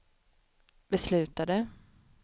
beslutade